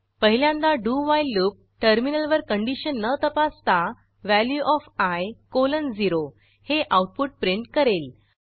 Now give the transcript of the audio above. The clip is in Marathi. पहिल्यांदा डू व्हाईल लूप टर्मिनलवर कंडिशन न तपासता वॅल्यू ओएफ आय कॉलन 0 हे आऊटपुट प्रिंट करेल